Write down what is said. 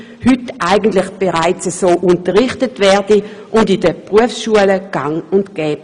Heute wird eigentlich bereits so unterrichtet und auch in den Berufsschulen ist dies gang und gäbe.